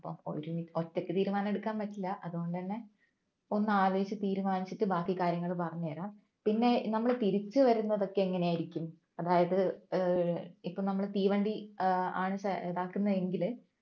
ഒറ്റക്ക് തീരുമാനമെടുക്കാൻ പറ്റില്ല അതുകൊണ്ട് തന്നെ ഒന്ന് ആലോചിച്ച് തീരുമാനിച്ചിട്ട് ബാക്കി കാര്യങ്ങൾ പറഞ്ഞു തരാം പിന്നെ നമ്മൾ തിരിച്ചു വരുന്നതൊക്കെ എങ്ങനെയായിരിക്കും അതായത് ഏർ ഇപ്പോൾ നമ്മൾ തീവണ്ടി ഏർ ആണ് ഇത് ആക്കുന്ന എങ്കിൽ